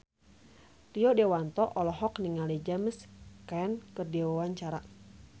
Rio Dewanto olohok ningali James Caan keur diwawancara